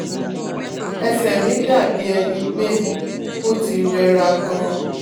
Ese mi dabi eni pe oti rera gan